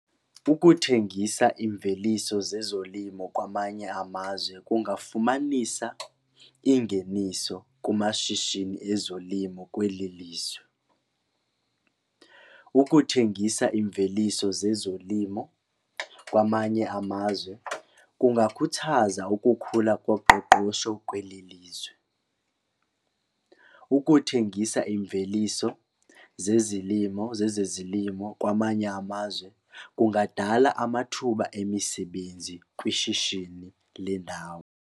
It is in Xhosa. Ukuthengisa imveliso zezolimo kwamanye amazwe kungafumanisa ingeniso kumashishini ezolimo kweli lizwe. Ukuthengisa imveliso zezolimo kwamanye amazwe kungakhuthaza ukukhula koqoqosho kweli lizwe. Ukuthengisa imveliso zezilimo zezezilimo kwamanye amazwe kungadala amathuba emisebenzi kwishishini lendawo.